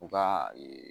U ka ee